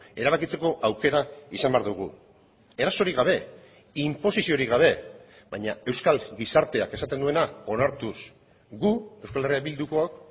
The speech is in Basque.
erabakitzeko aukera izan behar dugu erasorik gabe inposiziorik gabe baina euskal gizarteak esaten duena onartuz gu euskal herria bildukook